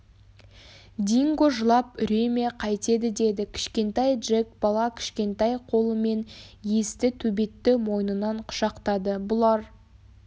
динго жылап үре ме қайтеді деді кішкентай джек бала кішкентай қолымен есті төбетті мойнынан құшақтады бұлар